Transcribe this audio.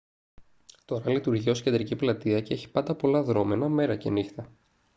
τώρα λειτουργεί ως κεντρική πλατεία και έχει πάντα πολλά δρώμενα μέρα και νύχτα